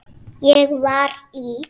Ég var í